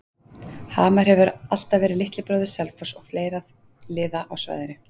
Hamar hefur alltaf verið litli bróðir Selfoss og fleiri liða á svæðinu.